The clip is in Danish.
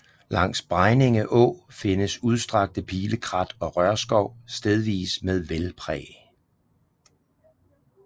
Langs Bregninge Å findes udstrakte pilekrat og rørskov stedvis med vældpræg